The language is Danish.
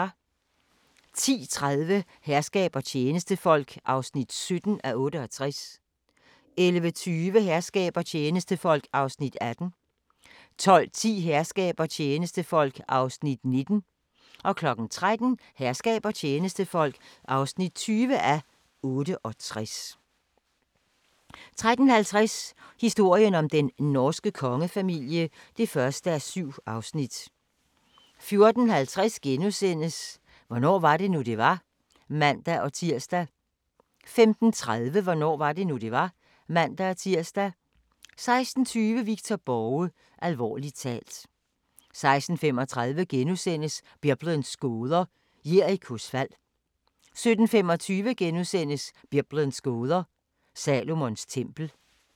10:30: Herskab og tjenestefolk (17:68) 11:20: Herskab og tjenestefolk (18:68) 12:10: Herskab og tjenestefolk (19:68) 13:00: Herskab og tjenestefolk (20:68) 13:50: Historien om den norske kongefamilie (1:7) 14:50: Hvornår var det nu, det var? *(man-tir) 15:35: Hvornår var det nu, det var? (man-tir) 16:20: Victor Borge – alvorligt talt 16:35: Biblens gåder – Jerikos fald * 17:25: Biblens gåder – Salomons tempel *